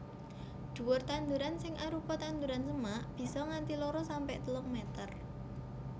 Dhuwur tanduran sing arupa tanduran semak bisa nganti loro sampe telung meter